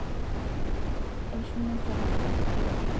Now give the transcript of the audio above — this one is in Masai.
eshunye sahanini